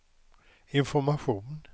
information